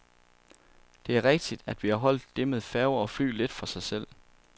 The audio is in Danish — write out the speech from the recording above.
Det er rigtigt, at vi har holdt det med færger og fly lidt for sig selv.